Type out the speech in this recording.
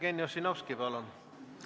Jevgeni Ossinovski, palun!